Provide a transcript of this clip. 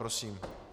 Prosím.